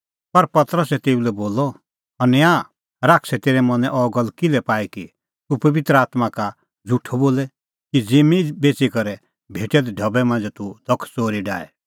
पर पतरसै तेऊ लै बोलअ हनन्याह शैतानै तेरै मनैं अह गल्ल किल्है पाई कि तूह पबित्र आत्मां का झ़ुठअ बोले कि ज़िम्मीं बेच़ी करै भेटै दै ढबै मांझ़ै तूह धख च़ोरी डाहे